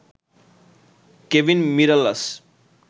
Kevin Mirallas